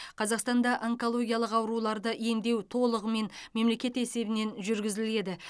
қазақстанда онкологиялық ауруларды емдеу толығымен мемлекет есебінен жүргізіледі